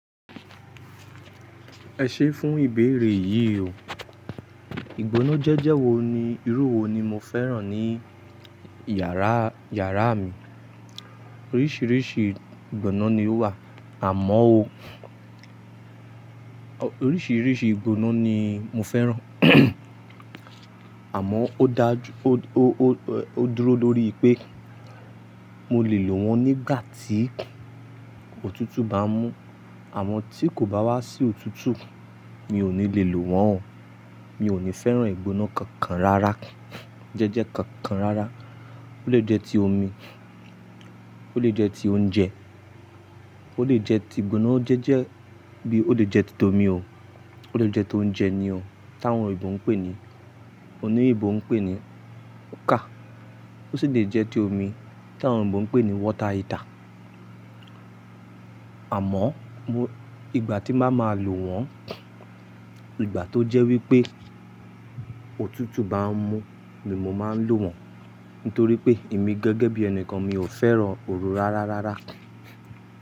Ẹ ṣé fún ìbéèrè yìí o. Ìgbóná jẹ́jẹ̀ wo ni, irú wo ni mo fẹ́ràn ní yàrá, yàrá mi? Oríṣiríṣi ìgbóná ni ó wà, àmọ́ o, oríṣiríṣi ìgbóná ni mo fẹ́ràn, àmọ́ ó dá ju, o, o, o, o dúró lórí pé mo lè lò wọ́n nígbà tí òtútù bá ń mú. Àmọ́ tí kò bá wá sí òtútù, mi ò ní lè lò wọ́n o. Mi ò ní fẹ́ràn ìgbóná kankan rárá, jẹ́jẹ́ kankan rárá. Ó lè jẹ́ ti omi, ó lè jẹ́ ti oúnjẹ, ó lè jẹ́ ti ìgbóná jẹ́jẹ́ bí ó lè jẹ́ ti omi o. Ó lè jẹ́ ti oúnjẹ ni o táwọn òyìnbó ń pè ní, oní òyìnbó ń pè ní cooker, ó sì lè jẹ́ ti omi táwọn òyìnbó ń pè ní water heater. Àmọ́ mo, ìgbà tí màá ma lò wọ́n, ìgbà tó jẹ́ wípé òtútù bá ń mú ni mo máa ń lò wọ́n. Nítorí pé èmi gan gẹ́gẹ́ bí ẹni kan mi ò fẹ́ràn ooru rárá rárá.